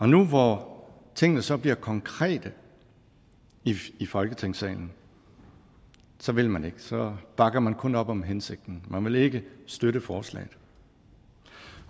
nu hvor tingene så bliver konkrete i folketingssalen så vil man ikke så bakker man kun op om hensigten man vil ikke støtte forslaget